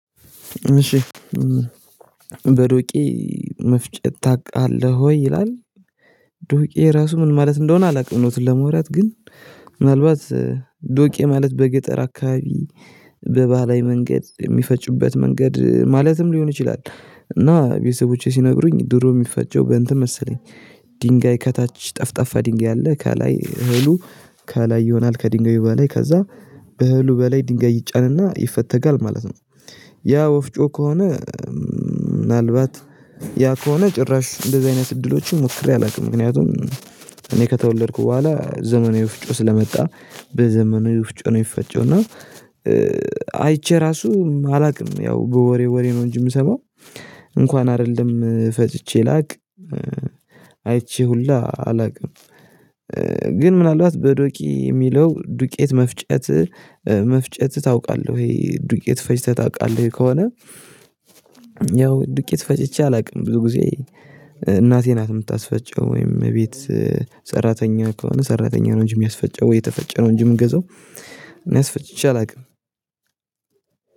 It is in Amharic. እሺ በዶቄ መፍጨት ታውቃለህ ወይ ይላል? ዶቄ ራሱ ምን ማለት እንደሆነ አላውቅም እውነቱን ለመውራት ግን ምናልባት ዶቄ ማለት በገጠር አካባቢ በባህላዊ መንገድ የሚፈጩበት መንገድ ማለትም ሊሆን ይችላል። እና ቤተሰቦቼ ሲነግሩኝ ድሮ የሚፈጨው በእንትን መሰለኝ። ድንጋይ ከታች ጠፍጣፋ ድንጋይ አለ ከላይ እህሉ ከላይ ይሆናል ከድንጋዩ በላይ ከዛ በእህሉ በላይ ድንጋይ ይጫንና ይፈተጋል ማለት ነው። ያ ወፍጮ ከሆነ። ምናልባት ያ ከሆነ ጭራሽ እንደዚህ አይነት እድሎችን ሞክሬ አላውቅም። ምክንያቱም እኔ ከተወለድኩ በኋላ ዘመናዊ ወፍጮ ስለመጣ በዘመናዊ ውፍጮ ነው የሚፈጨው። እና ራሱ አላውቅም ያው በወሬ ወሬ ነው እንጂ የምሰማው እንኳን አይደለም ፈጭቼ ላቅ አይቼ ሁላ አላውቅም። ግን ምናልባት በዶቂ የሚለው ዱቄት መፍጨት መፍጨት ታውቃለህ ወይ ዱቄት ፈጭተህ ታውቃለህ ከሆነ? ያው ዱቄት ፈጭቼ አላውቅም። ብዙ ጊዜ እናቴ ናት የምታስፈጨው ወይም ቤት ሰራተኛ ከሆነ ሰራተኛ ነው እንጂ የሚያስፈጨው ወይ የተፈጨ ነው እንጂ የምንገዛው። እኔአስፈጭቼ አላውቅም